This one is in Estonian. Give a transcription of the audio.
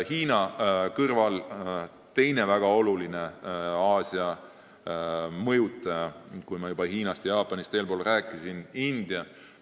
Hiinast ja Jaapanist ma juba eespool rääkisin, aga nende kõrval avaldab Aasias veel väga olulist mõju India.